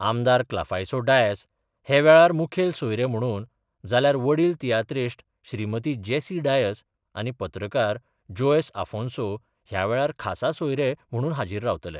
आमदार क्लाफासीयो डायस हे वेळार मुखेल सोयरे म्हणून जाल्यार वडील तियात्रीश्ट श्रीमती जेसी डायस आनी पत्रकार जोएस आफोंसो ह्या वेळार खासा सोयरे म्हणून हाजीर रावतले.